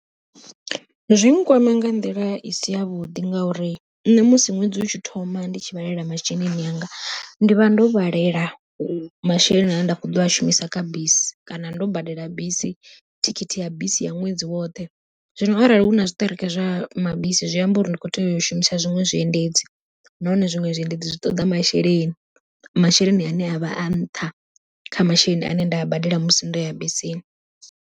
Zwi nkwama nga nḓila i si yavhuḓi ngauri, nṋe musi ṅwedzi utshi thoma ndi tshi vhalelela masheleni anga, ndi vha ndo vhalela masheleni ane nda kho ḓo a shumisa kha bisi kana ndo badela bisi thikhithi ya bisi ya ṅwedzi woṱhe. Zwino arali huna zwiṱereke zwa mabisi zwi amba uri ndi kho tea u shumisa zwiṅwe zwiendedzi, nahone zwiṅwe zwiendedzi zwi ṱoḓa masheleni, masheleni ane a vha a nṱha kha masheleni ane nda a badela musi ndo ya bisini.